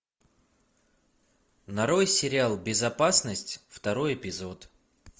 нарой сериал безопасность второй эпизод